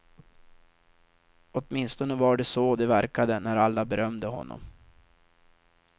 Åtminstone var det så det verkade när alla berömde honom.